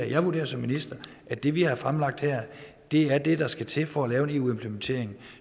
jeg vurderer som minister at det vi har fremlagt her er det der skal til for at lave en eu implementering